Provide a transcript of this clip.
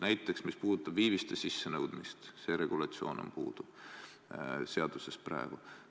Näiteks, mis puudutab viiviste sissenõudmist, siis see regulatsioon on seaduses praegu puudu.